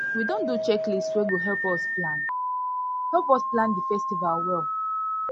we don do checklist wey go help us plan help us plan di festival well